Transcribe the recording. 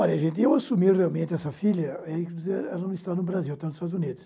Olha, gente, eu assumi realmente essa filha, ela não está no Brasil, ela está nos Estados Unidos.